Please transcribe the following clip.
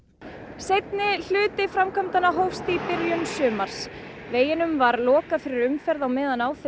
seinni hluti framkvæmdanna hófst í byrjun sumars veginum var lokað fyrir umferð á meðan á þeim